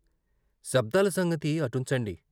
శబ్దాల సంగతి అటుం చండి.